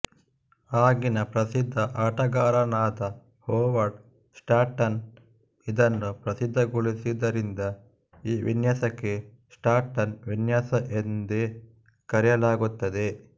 ಆಗಿನ ಪ್ರಸಿದ್ಧ ಆಟಗಾರರಾದ ಹೊವರ್ಡ್ ಸ್ಟಾಂಟನ್ ಇದನ್ನು ಪ್ರಸಿದ್ಧಗೊಳಿಸಿದ್ದರಿಂದ ಈ ವಿನ್ಯಾಸಕ್ಕೆ ಸ್ಟಾಂಟನ್ ವಿನ್ಯಾಸ ಎಂದೇ ಕರೆಯಲಾಗುತ್ತದೆ